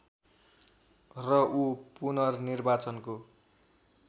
र ऊ पुननिर्वाचनको